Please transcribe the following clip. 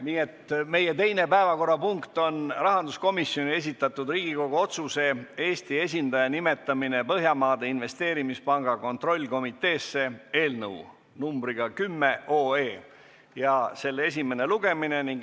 Nii et meie teine päevakorrapunkt on rahanduskomisjoni esitatud Riigikogu otsuse "Eesti esindaja nimetamine Põhjamaade Investeerimispanga kontrollkomiteesse" eelnõu 10 esimene lugemine.